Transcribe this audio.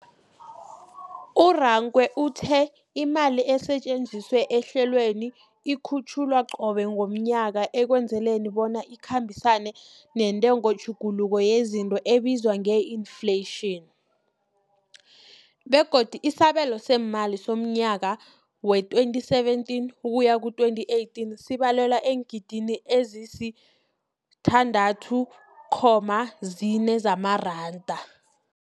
U-Rakwena uthe imali esetjenziswa ehlelweneli ikhutjhulwa qobe ngomnyaka ukwenzela bona ikhambisane nentengotjhuguluko yezinto ebizwa nge-infleyitjhini, begodu isabelo seemali somnyaka we-2017 ukuya 18 sibalelwa eengidigidini ezisi-6.4 zamaranda.